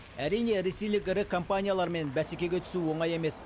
әрине ресейлік ірі компаниялармен бәсекеге түсу оңай емес